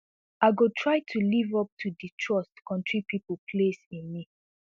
i go try to live up to di trust kontri pipo place in me